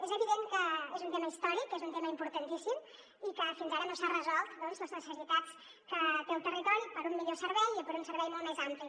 és evident que és un tema històric és un tema importantíssim i que fins ara no s’han resolt les necessitats que té el territori per a un millor servei i per a un servei molt més ampli